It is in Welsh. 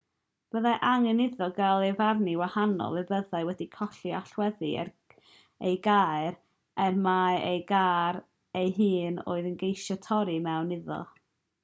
byddai angen iddo gael ei farnu'n wahanol pe byddai wedi colli allweddi ei gar ac mai ei gar ei hun roedd e'n ceisio torri i mewn iddo